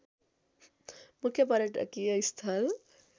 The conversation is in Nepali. मुख्य पर्यटकीय स्थल